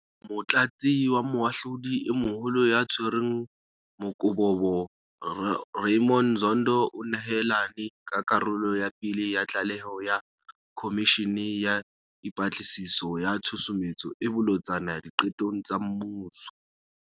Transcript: Motlatsi wa Moahlodi e Moholo ya Tshwereng Mokobobo Ra ymond Zondo o nehelane ka karolo ya pele ya tlaleho ya Khomishene ya Dipatlisiso ya Tshusumetso e Bolotsana Diqetong tsa Mmuso.